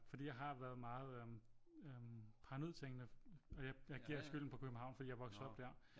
Fordi jeg har været meget øh paranoid tænkende og jeg giver skylden på København fordi jeg voksede op der